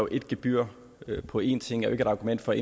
et gebyr på én ting er et argument for